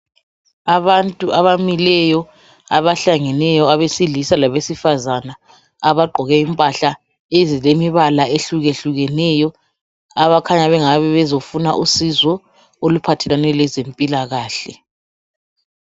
Abantu abamileyo abahlangeneyo abesilisa labesifazana abagqoke impahla ezilombala ohlukehlukeneyo abakhanya bengabe bezofuna usizo oluphathelane lezempilakahle.